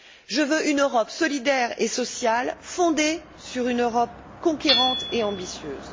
Je veux une Europe solidaire et sociale, fondée sur une Europe conquérante et ambitieuse.